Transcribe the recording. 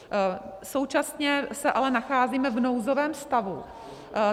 Současně se ale nacházíme v nouzovém stavu.